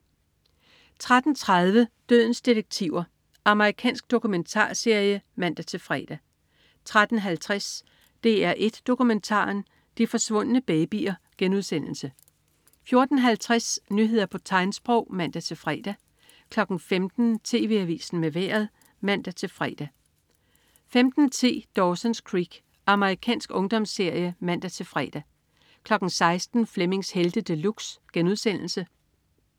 13.30 Dødens detektiver. Amerikansk dokumentarserie (man-fre) 13.50 DR1 Dokumentaren. De forsvundne babyer* 14.50 Nyheder på tegnsprog (man-fre) 15.00 TV Avisen med Vejret (man-fre) 15.10 Dawson's Creek. Amerikansk ungdomsserie (man-fre) 16.00 Flemmings Helte De Luxe*